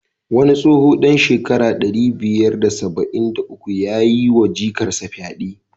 Wani tsoho dan shekara ɗari biyar da saba'in da uku yayi wa jikarsa fyade.